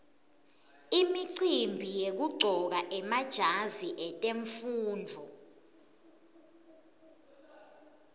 imicimbi yekuqcoka emajazi etemfundvo